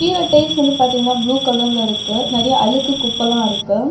இதுல டைல்ஸ் வந்து பாதீங்னா ப்ளூ கலர்ல இருக்கு. நெறைய அழுக்கு குப்பல்லா இருக்கு.